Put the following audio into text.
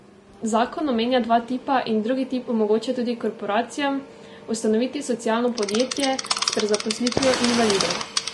Zakon omenja dva tipa in drugi tip omogoča tudi korporacijam ustanoviti socialno podjetje s prezaposlitvijo invalidov.